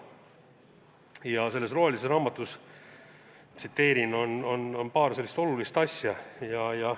Ja selles rohelises raamatus – tsiteerin – on kirjas muu hulgas paar sellist olulist asja.